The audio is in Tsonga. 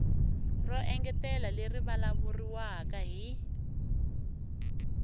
ro engetela leri vulavuriwaka hi